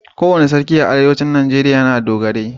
Kowane sarki a arewacin najeriya yana da dogarai.